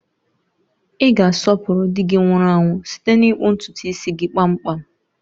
Ị ga-asọpụrụ di gị nwụrụ anwụ site n'ịkpụ ntutu gị kpamkpam